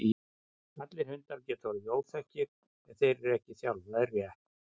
allir hundar geta orðið óþekkir ef þeir eru ekki þjálfaðir rétt